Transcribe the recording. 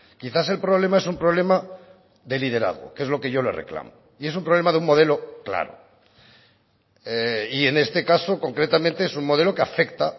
quizás el problema es un problema de liderazgo que es lo que yo le reclamo y es un problema de un modelo claro y en este caso concretamente es un modelo que afecta